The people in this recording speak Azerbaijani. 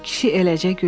Kişi eləcə güldü.